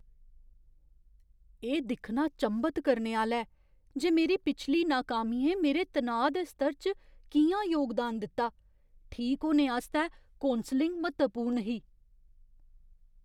एह् दिक्खना चंभत करने आह्‌ला ऐ जे मेरी पिछली नाकामियें मेरे तनाऽ दे स्तर च कि'यां योगदान दित्ता। ठीक होने आस्तै कौंसलिङ म्हत्तवपूर्ण ही।